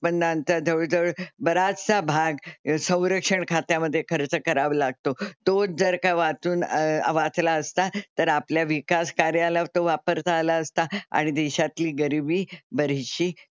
उत्पन्नांचा जवळ जवळ बराचसा भाग संरक्षण खात्यामध्ये खर्च करावा लागतो. तो जर का वाचून वाचला असता तर आपल्या विकास कार्यालयाला तो वापरता असता आणि देशातली गरीबी बरीचशी,